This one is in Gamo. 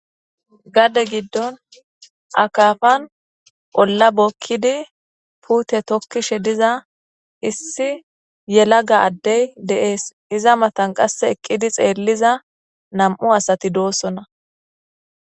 Gade giddon akafan ola bokidi pute tokishe diza issi yelaga adey de'es iza matan qasse eqqidi xeelliza nam'u asati dosona.